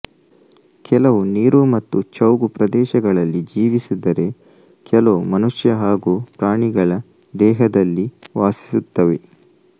ಕೆಲವು ನೀರು ಮತ್ತು ಚೌಗು ಪ್ರದೇಶಗಳಲ್ಲಿ ಜೀವಿಸಿದರೆಕೆಲವು ಮನುಷ್ಯ ಹಾಗೂ ಪ್ರಾಣಿಗಳ ದೇಹದಲ್ಲಿ ವಾಸಿಸುತ್ತವೆ